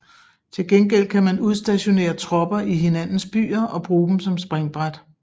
Tilgengæld kan man udstationere tropper i hinandens byer og bruge dem som springbræt